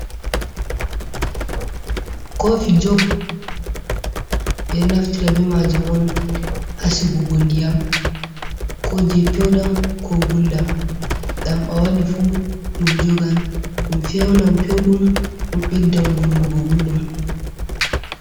Kofi jock be naftira be majum on hasigugo ndiyam ko je pewdam ko guldam, dam a wadi fu dum jogan dum fewnam pewdum dum beddam wunnugo gulɗum.